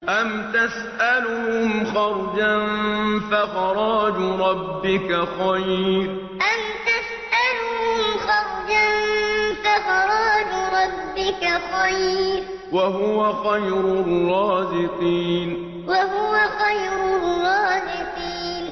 أَمْ تَسْأَلُهُمْ خَرْجًا فَخَرَاجُ رَبِّكَ خَيْرٌ ۖ وَهُوَ خَيْرُ الرَّازِقِينَ أَمْ تَسْأَلُهُمْ خَرْجًا فَخَرَاجُ رَبِّكَ خَيْرٌ ۖ وَهُوَ خَيْرُ الرَّازِقِينَ